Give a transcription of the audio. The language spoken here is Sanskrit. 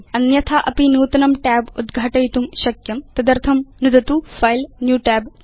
अन्यथा अपि नूतनं tab उद्घाटयितुं शक्यं तदर्थं नुदतु फिले न्यू Tab च